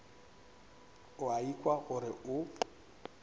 o a ikwa gore o